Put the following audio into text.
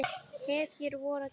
Hetju vorra tíma.